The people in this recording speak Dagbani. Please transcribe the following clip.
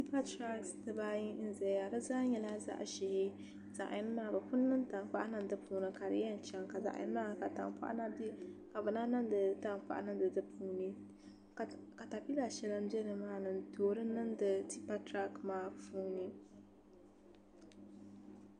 Tipa tirak dibaayi n ʒɛya di zaa nyɛla zaɣ ʒiɛ zaɣ yini maa bi pun niŋ tankpaɣu niŋ di puuni ka di yɛn chɛŋ ka zaŋ yini maa mii ka tankpaɣu na bɛ dinni ka bi na niŋdi tankpaɣu niŋdi di puuni katapila shɛli n bɛ nimaani n toori niŋdi tipa tirak maa puuni